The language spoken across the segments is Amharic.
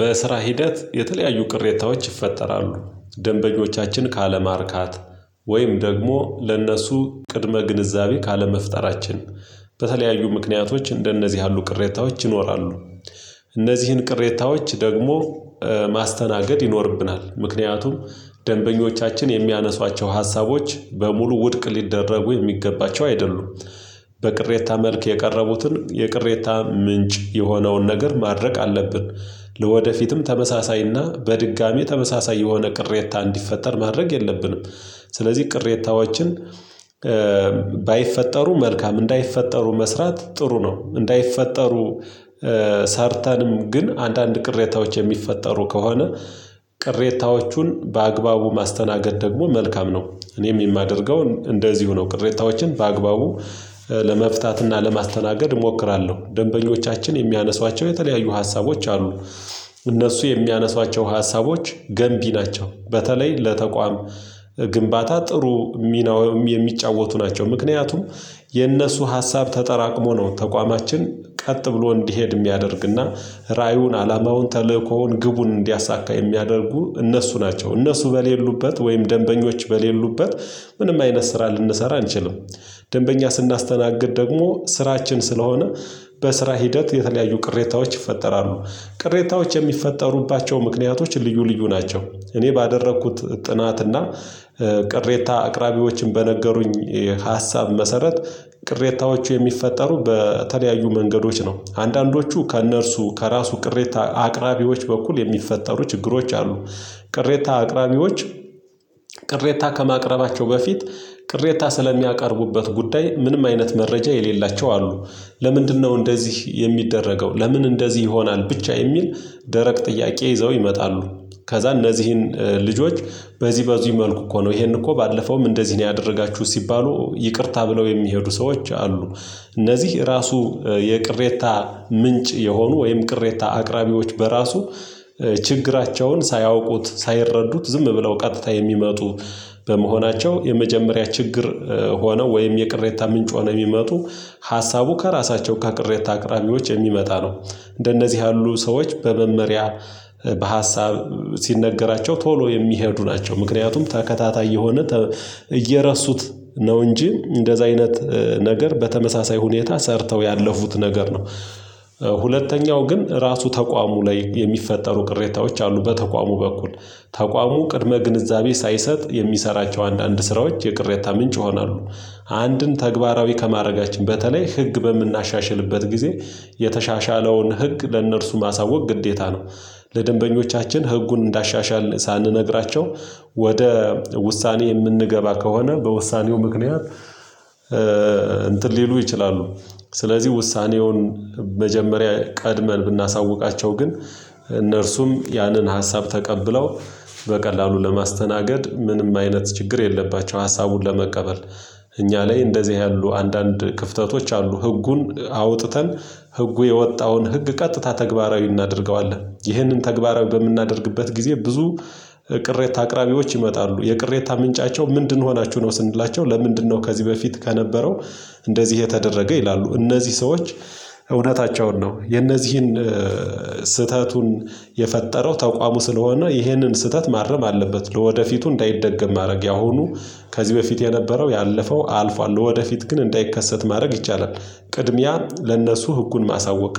በስራ ሂደት የተለያዩ ቅሬታዎች ይፈጠራሉ ደንበኞቻችን ካለማርካት ወይም ደግሞ ለእነሱ ቅድመ ግንዛቤ ካለመፍጠራችን በተለያዩ ምክንያቶች እንደነዚህ ያሉ ቅሬታዎች ይኖራሉ። እነዚህን ቅሬታዎች ደግሞ ማስተናገድ ይኖርብናል። ምክንያቱም ደንበኞቻችን የሚያነሷቸው ሀሳቦች በሙሉ ውድቅ ሊደረጉ የሚገባቸው አይደሉም። በቅሬታ መልክ የቀረቡትን የቅሬታ ምንጭ የሆነውን ነገር ማድረቅ አለብን። ለወደፊትም ተመሳሳይና በድጋሚ ተመሳሳይ የሆነ ቅሬታ እንዲፈጠር ማድረግ የለብንም። ስለዚህ ቅሬታዎችን ባይፈጠሩ መልካም እንዳይፈጠሩ መስራት ጥሩ ነው። እንዳይፈጠሩ ሰርተንም ግን አንዳንድ ቅሬታዎች የሚፈጠሩ ከሆነ ቅሬታዎቹን በአግባቡ ማስተናገድ ደግሞ መልካም ነው። እኔም የማደርገው እንደዚሁ ነው ቅሬታዎችን በአግባቡ ለመፍታት እና ለማስተናገድ እሞክራለሁ ደንበኞቻችን የሚያነሷቸው የተለያዩ ሀሳቦች አሉ። እነሱ የሚያነሷቸው ሀሳቦች ገንቢ ናቸው በተለይ ለተቋም ግንባታ ጥሩ ሚናውም የሚጫወቱ ናቸው። ምክንያቱም የእነሱ ሀሳብ ተጠራቅሞ ነው ተቋማችን ቀጥ ብሎ እንዲሄድ የሚያደርግ እና ራእዩን አላማውን ተልእኮውን ግቡን እንዲያሳካ የሚያደርጉ እነሱ ናቸው። እነሱ በሌሉበት ወይም ደንበኞች በሌሉበት ምንም አይነት ስራ ልንሰራ አንችልም። ደንበኛ ስናስተናግድ ደግሞ ስራችን ስለሆነ በስራ ሂደት የተለያዩ ቅሬታዎች ይፈጠራሉ። ቅሬታዎች የሚፈጠሩባቸው ምክንያቶች ልዩ ልዩ ናቸው። እኔ ባደረኩት ጥናት እና ቅሬታ አቅራቢዎችን በነገሩኝ የሀሳብ መሰረት ቅሬታዎቹ የሚፈጠሩ በተለያዩ መንገዶች ነው አንዳንዶቹ ከእነርሱ ከራሱ ቅሬታ አቅራቢዎች በኩል የሚፈጠሩ ችግሮች አሉ። ቅሬታ አቅራቢዎች ቅሬታ ከማቅረባቸው በፊት ቅሬታ ስለሚያቀርቡበት ጉዳይ ምንም አይነት መረጃ የሌላቸው አሉ። ለምንድነው እንደዚህ የሚደረገው? ለምን እንደዚህ ይሆናል? ብቻ የሚል ደረቅ ጥያቄ ይዘው ይመጣሉ። ከዛ እነዚህን ልጆች በዚህ በዚህ መልኩ እኮ ነው ይሄን እኮ ባለፈውም እንደዚህ ነው ያደረጋችሁ ሲባሉ ይቅርታ ብለው የሚሄዱ ሰዎች አሉ። እነዚህ ራሱ የቅሬታ ምንጭ የሆኑ ወይም ቅሬታ አቅራቢዎች በራሱ ችግራቸውን ሳያውቁት ሳይረዱት ዝም ብለው ቀጥታ የሚመጡ። በመሆናቸው የመጀመሪያ ችግር ሆነው ወይም የቅሬታ ምንጭ ሆነው የሚመጡ ሀሳቡ ከራሳቸው ከቅሬታ አቅራቢዎች የሚመጣ ነው። እንደነዚህ ያሉ ሰዎች በመመሪያ በሀሳብ ሲነገራቸው ቶሎ የሚሄዱ ናቸው። ምክንያቱም ተከታታይ የሆነ እየረሱት ነው እንጂ እንደዛ አይነት ነገር በተመሳሳይ ሁኔታ ሰርተው ያለፉት ነገር ነው። ሁለተኛው ግን ራሱ ተቋሙ ላይ የሚፈጠሩ ቅሬታዎች አሉ በተቋሙ በኩል ተቋሙ ቅድመ ግንዛቤ ሳይሰጥ የሚሰራቸው አንዳንድ ስራዎች የቅሬታ ምንጭ ይሆናሉ። አንድን ተግባራዊ ከማረጋችን በተለይ ህግ በምናሻሽልበት ጊዜ የተሻሻለውን ህግ ለእነርሱ ማሳወቅ ግዴታ ነው። ለደንበኞቻችን ህጉን እንዳሻሻል ሳንነግራቸው ወደ ውሳኔ የምንገባ ከሆነ በውሳኔው ምክንያት እንትን ሊሉ ይችላሉ። ስለዚህ ውሳኔውን መጀመሪያ ቀድመን ብናሳውቃቸው ግን እነርሱም ያንን ሀሳብ ተቀብለው በቀላሉ ለማስተናገድ ምንም አይነት ችግር የለባቸው ሀሳቡን ለመቀበል። እኛ ላይ እንደዚህ ያሉ አንዳንድ ክፍተቶች አሉ ህጉን አውጥተን ህጉ የወጣውን ህግ ቀጥታ ተግባራዊ እናደርገዋለን። ይህንን ተግባራዊ በምናደርግበት ጊዜ ብዙ ቅሬታ አቅራቢዎች ይመጣሉ የቅሬታ ምንጫቸው ምንድን ሆናችሁ ነው? ስንላቸው ለምንድነው ከዚህ በፊት ከነበረው እንደዚህ የተደረገ ይላሉ? እነዚህ ሰዎች እውነታቸውን ነው የነዚህን ስህተቱን የፈጠረው ተቋሙ ስለሆነ ይህንን ስህተት ማረም አለበት። ለወደፊቱ እንዳይደገም ማድረግ ያሁኑ ከዚህ በፊት የነበረው ያለፈው አልፏል ለወደፊት ግን እንዳይከሰት ማድረግ ይቻላል። ቅድሚያ ለእነሱ ህጉን ማሳወቅ።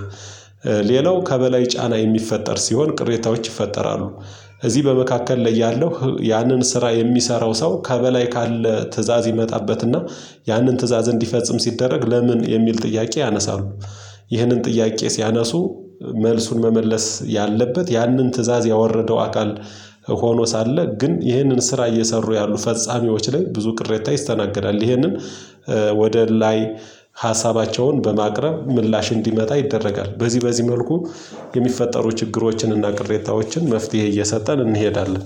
ሌላው ከበላይ ጫና የሚፈጠር ሲሆን ቅሬታዎች ይፈጠራሉ። እዚህ በመካከል ላይ ያለው ያንን ስራ የሚሰራው ሰው ከበላይ ካለ ትእዛዝ ይመጣበትና ያንን ትእዛዝ እንዲፈጽም ሲደረግ ለምን የሚል ጥያቄ ያነሳሉ። ይህንን ጥያቄ ሲያነሱ መልሱን መመለስ ያለበት ያንን ትእዛዝ ያወረደው አካል ሆኖ ሳለ ግን ይህንን ስራ እየሰሩ ያሉ ፈጻሚዎች ላይ ብዙ ቅሬታ ይስተናገዳል። ይሄንን ወደ ላይ ሀሳባቸውን በማቅረብ ምላሽ እንዲመጣ ይደረጋል። በዚህ በዚህ መልኩ የሚፈጠሩ ችግሮችን እና ቅሬታዎችን መፍትሄ እየሰጠን እንሄዳለን